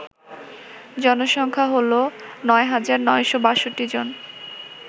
জনসংখ্যা হল ৯৯৬২ জন